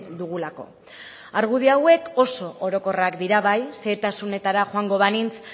dugulako argudio hauek oso orokorrak dira bai xehetasunetara joango banintz